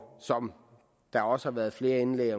som der også har været flere indlæg